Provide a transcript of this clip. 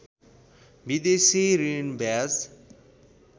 विदेशी ऋण ब्याज